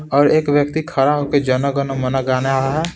और एक व्यक्ति खड़ा हो के जन गन मन गाना आ रहा है।